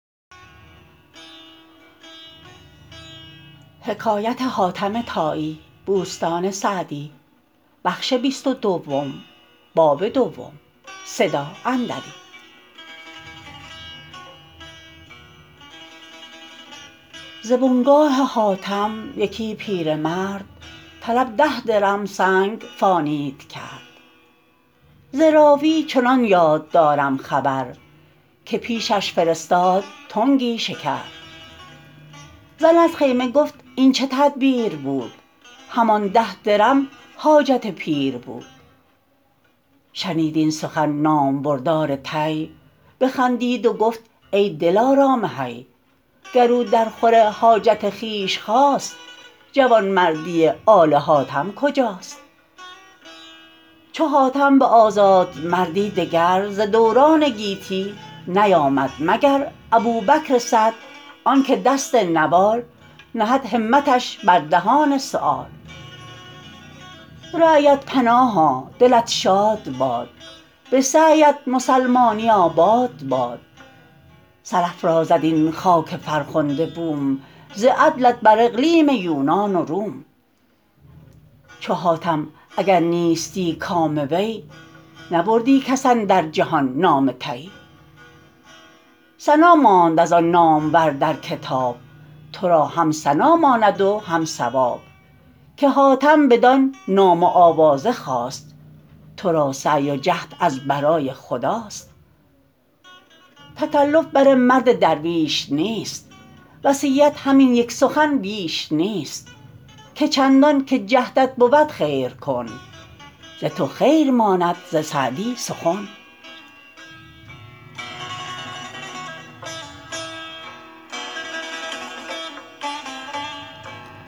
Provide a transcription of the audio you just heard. ز بنگاه حاتم یکی پیرمرد طلب ده درم سنگ فانید کرد ز راوی چنان یاد دارم خبر که پیشش فرستاد تنگی شکر زن از خیمه گفت این چه تدبیر بود همان ده درم حاجت پیر بود شنید این سخن نامبردار طی بخندید و گفت ای دلارام حی گر او در خور حاجت خویش خواست جوانمردی آل حاتم کجاست چو حاتم به آزادمردی دگر ز دوران گیتی نیامد مگر ابوبکر سعد آن که دست نوال نهد همتش بر دهان سؤال رعیت پناها دلت شاد باد به سعی ات مسلمانی آباد باد سرافرازد این خاک فرخنده بوم ز عدلت بر اقلیم یونان و روم چو حاتم اگر نیستی کام وی نبردی کس اندر جهان نام طی ثنا ماند از آن نامور در کتاب تو را هم ثنا ماند و هم ثواب که حاتم بدان نام و آوازه خواست تو را سعی و جهد از برای خداست تکلف بر مرد درویش نیست وصیت همین یک سخن بیش نیست که چندان که جهدت بود خیر کن ز تو خیر ماند ز سعدی سخن